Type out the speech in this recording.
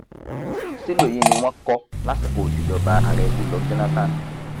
ṣílò yìí ni wọn kọ lásìkò ìṣèjọba ààrẹ goodluck jonathan